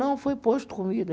Não, foi posto comida.